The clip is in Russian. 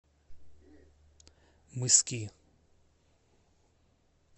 мыски